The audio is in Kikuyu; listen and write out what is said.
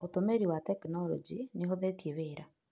Ũtũmĩri wa tekinorojĩ nĩ ũhũthĩtie wĩra.